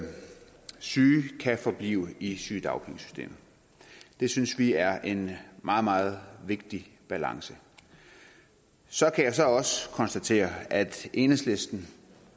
syge kan forblive i sygedagpengesystemet det synes vi er en meget meget vigtig balance så kan jeg så også konstatere at enhedslisten